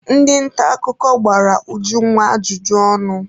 Ndị nta akụkọ gbara Ujunwa ajụjụ ọnụ.